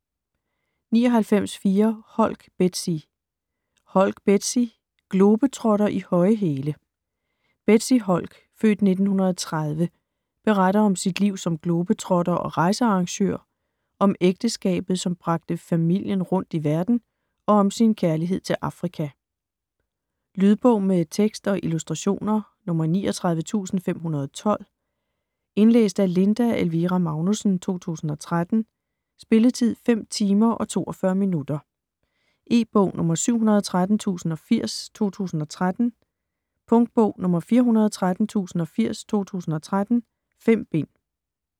99.4 Holk, Bethsy Holk, Bethsy: Globetrotter i høje hæle Bethsy Holk (f. 1930) beretter om sit liv som globetrotter og rejsearrangør, om ægteskabet som bragte familien rundt i verden, og om sin kærlighed til Afrika. Lydbog med tekst og illustrationer 39512 Indlæst af Linda Elvira Magnussen, 2013. Spilletid: 5 timer, 42 minutter. E-bog 713080 2013. Punktbog 413080 2013. 5 bind.